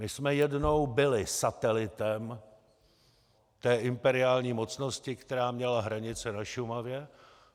My jsme jednou byli satelitem té imperiální mocnosti, která měla hranice na Šumavě.